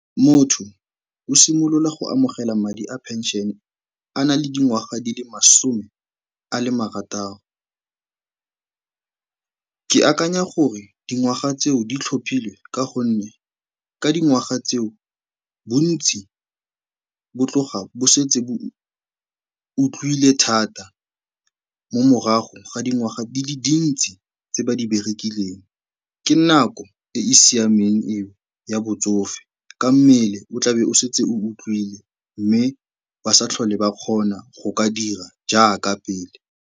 Motho o simolola go amogela madi a pension-e a na le dingwaga di le masome a le marataro. Ke akanya gore dingwaga tseo di tlhophilwe ka gonne ka dingwaga tseo bontsi bo tloga bo setse bo utlwile thata mo morago ga dingwaga di le dintsi tse ba di berekileng. Ke nako e e siameng eo ya botsofe ka mmele o tlabe o setse o utlwile mme ba sa tlhole ba kgona go ka dira jaaka pele.